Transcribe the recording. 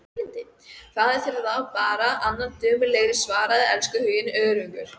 Fáðu þér þá bara annan dömulegri, svaraði elskhuginn önugur.